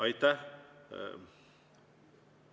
Aitäh!